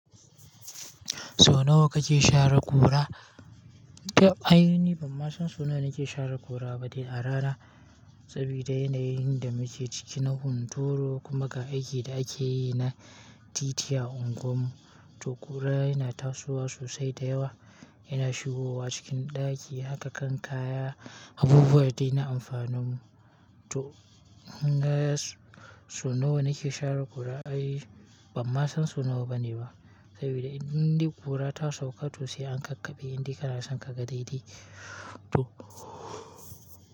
Sau nawa kake share ƙura? Ai ni ban ma san sau nawa nake share ƙura ba dai a rana. Sabida yanayin da muke ciki na hunturu, kuma ga aikin da akeyi na titi a unguwarmu, to ƙura yana tasowa sosai da yawa, yana shigowa cikin ɗaki haka kan kaya, abubuwa dai yana amfanin mu. To, gaya sau nawa nake share ƙura, ai ban ma san sau nawa bane ba. Sabida indai ƙura ta sauƙa to sai an kakkaɓe, indin kana son ka ga daidai. To.